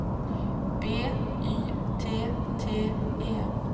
B Y T T E